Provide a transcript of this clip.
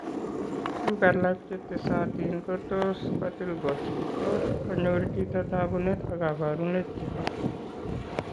Tuguk alak chetesatin ko tos kotil kot tot konyor chito tagunet ak kabarunet chebo